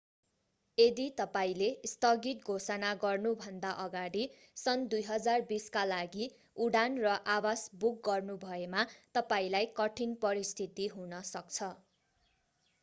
यदि तपाईंले स्थगित घोषणा गर्नुभन्दा अगाडि सन् 2020 का लागि उडान र आवास बुक गर्नुभएमा तपाईंलाई कठिन परिस्थिति हुन सक्छ